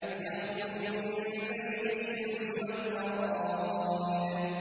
يَخْرُجُ مِن بَيْنِ الصُّلْبِ وَالتَّرَائِبِ